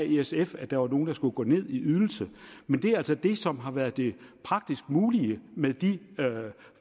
i sf at der var nogen der skulle gå ned i ydelse men det er altså det som har været det praktisk mulige med de